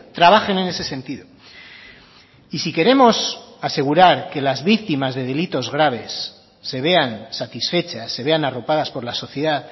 trabajen en ese sentido y si queremos asegurar que las víctimas de delitos graves se vean satisfechas se vean arropadas por la sociedad